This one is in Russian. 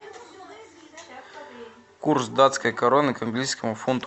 курс датской короны к английскому фунту